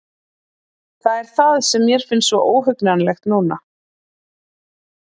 Það er það sem mér finnst svo óhugnanlegt núna.